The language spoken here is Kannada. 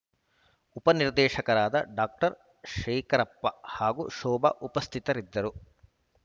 ಉಪನಿರ್ದೇಶಕರಾದ ಡಾಕ್ಟರ್ ಶೇಖರಪ್ಪ ಹಾಗೂ ಶೋಭಾ ಉಪಸ್ಥಿತರಿದ್ದರು